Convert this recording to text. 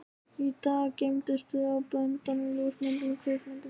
Í dag geymumst við á böndum, ljósmyndum, kvikmyndum.